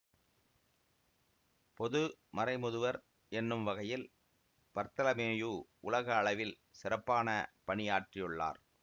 பொது மறைமுதுவர் என்னும் வகையில் பர்த்தலமேயு உலக அளவில் சிறப்பான பணியாற்றியுள்ளார்